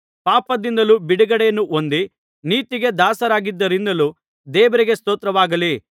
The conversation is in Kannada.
ಪಾಪದಿಂದ ಬಿಡುಗಡೆಯನ್ನು ಹೊಂದಿ ನೀತಿಗೆ ದಾಸರಾದ್ದರಿಂದಲೂ ದೇವರಿಗೆ ಸ್ತೋತ್ರವಾಗಲಿ